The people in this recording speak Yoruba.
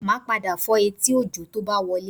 Màá padà fọ́ etí Òjó tó bá ti wọlé